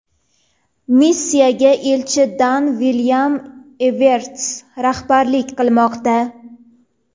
Missiyaga elchi Daan Vilyam Everts rahbarlik qilmoqda.